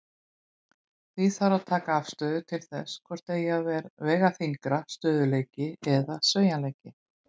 Því þarf að taka afstöðu til þess hvort eigi að vega þyngra, stöðugleiki eða sveigjanleiki.